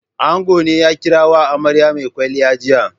Ango ne ya kira wa amarya mai kwalliya jiya.